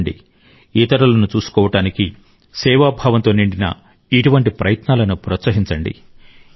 రండి ఇతరులను చూసుకోవటానికి సేవా భావంతో నిండిన ఇటువంటి ప్రయత్నాలను ప్రోత్సహించండి